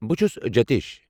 بہٕ چھٗس جِتیش۔